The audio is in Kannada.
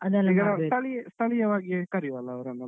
ಈಗ ನಾವು ಸ್ಥಳೀಯ ಸ್ಥಳೀಯವಾಗಿ ಕರಿಯುವಾ ಅಲ್ಲ ಅವ್ರನ್ನೆಲ್ಲ?